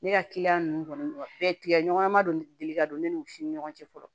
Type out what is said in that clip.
Ne ka kiliyan ninnu kɔni bɛɛ tigɛ ɲɔgɔn ma don deli ka don ne nun si ni ɲɔgɔn cɛ fɔlɔ